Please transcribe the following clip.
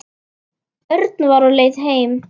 Örn var á leið heim.